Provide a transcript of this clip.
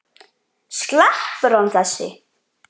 Sleppur hann þessi?